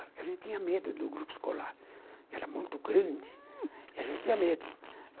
A gente tinha medo do grupo escolar, era muito grande, e a gente tinha medo.